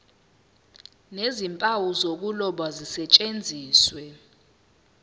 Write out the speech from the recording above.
nezimpawu zokuloba zisetshenziswe